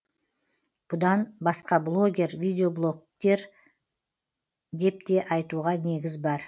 бұдан басқа блогер видеоблогер депте айтуға негіз бар